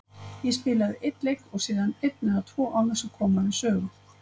Ég spilaði einn leik og síðan einn eða tvö án þess að koma við sögu.